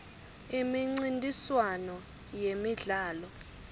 imincintiswano yemidlalo